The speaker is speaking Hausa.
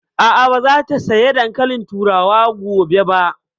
A'a, ba za ta saya dankalin turawa gobe ba